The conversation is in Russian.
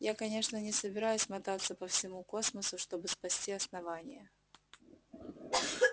я конечно не собираюсь мотаться по всему космосу чтобы спасти основание